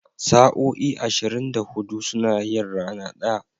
Sa'o'i ashirin da hudu suna yin rana ɗaya.